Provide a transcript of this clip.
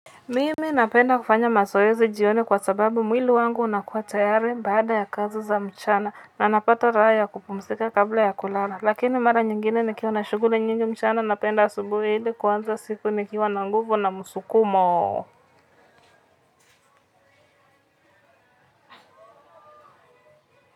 Mimi napenda kufanya mazoezi jioni kwa sababu mwili wangu unakuwa tayari baada ya kazi za mchana na napata raha ya kupumzika kabla ya kulala. Lakini mara nyingine nikiwa na shughuli nyingi mchana napenda asubuhi hili kuanza siku nikiwana nguvu na msukumo.